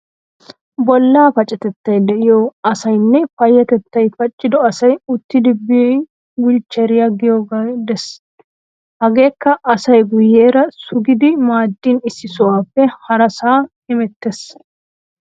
Bollaa pacatettay de'iyo asaynne payyatettay paccido asay uuttidi biyo wulchcheeriya giyogee de'ees. Hageekka asay guyeera sugidi maaddin issi sohuwappe harasaa hemettees.